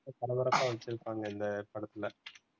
பரபரப்பாக வச்சிருப்பாங்க அந்த படத்துல